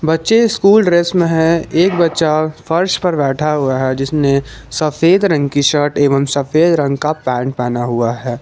बच्चे school dress में है एक बच्चा फर्श पर बैठा हुआ है जिसने सफेद रंग की शर्ट एवम सफेद रंग का पैंट पहनना हुआ है।